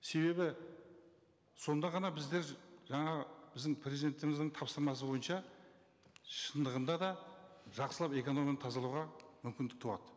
себебі сонда ғана біздер жаңа біздің президентіміздің тапсырмасы бойынша шындығында да жақсылап экономиканы тазалауға мүмкіндік туады